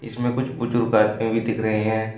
इसमें कुछ बुजुर्ग आदमी भी दिख रहे हैं।